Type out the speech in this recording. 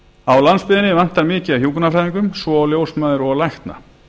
á landsbyggðinni vantar mikið af hjúkrunarfræðingum svo og ljósmæður og lækna